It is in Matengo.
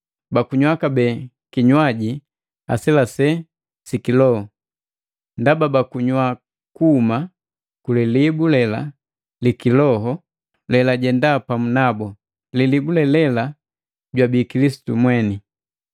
bakunywa kabee kinywaji aselesela si kiloho, ndaba bakunywa kuhuma kulilibu lela li kiloho lelajenda pamu nabu, lilibu le lela jwabii Kilisitu mweni.